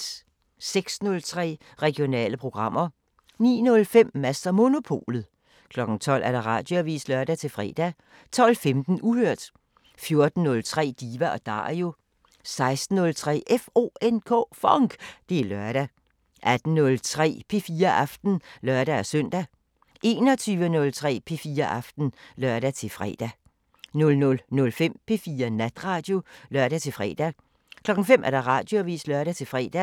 06:03: Regionale programmer 09:05: Mads & Monopolet 12:00: Radioavisen (lør-fre) 12:15: Uhørt 14:03: Diva & Dario 16:03: FONK! Det er lørdag 18:03: P4 Aften (lør-søn) 21:03: P4 Aften (lør-fre) 00:05: P4 Natradio (lør-fre) 05:00: Radioavisen (lør-fre)